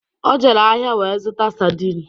O jere ahịa wee zụta sardin